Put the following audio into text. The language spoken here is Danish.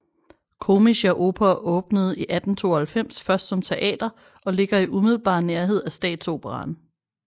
Komische Oper åbnede i 1892 først som teater og ligger i umiddelbar nærhed af Statsoperaen